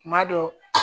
Kuma dɔ